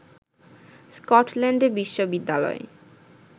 স্কটল্যান্ডে বিশ্ববিদ্যালয়